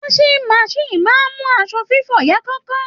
Washing machine máa ń mú aṣọ fífọ̀ yá kánkán